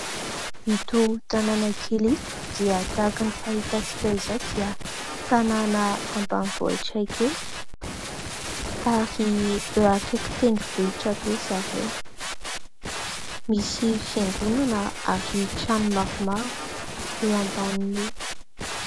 Ito tanàna kely ito dia tahaka ny fahitantsika izao, dia tanàna ambanivohitra kely, ary eo akaiky tendrombohitra be zareo, misy fiangonana ary trano maromaro eo ambanin'io.